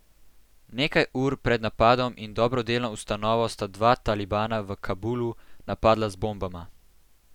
Nekaj ur pred napadom na dobrodelno ustanovo sta dva talibana v Kabulu napadla z bombama.